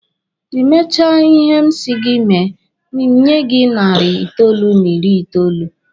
Ị mechaa ihe m si gị mee, m nye gị narị itoolu n'iri itoolu.